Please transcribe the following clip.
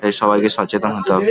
তাই সবাইকে সচেতন হতে হবে --